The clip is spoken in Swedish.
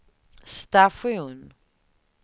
station